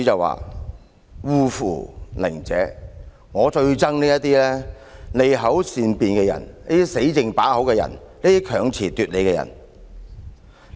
"他最討厭這些利口善辯、"死剩把口"、強詞奪理的人。